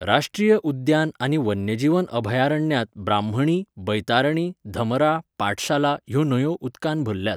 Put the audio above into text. राश्ट्रीय उद्यान आनी वन्यजीव अभयारण्यांत ब्राह्मणी, बैतारणी, धमरा, पाठशाला ह्यो न्हंयो उदकान भरल्यात.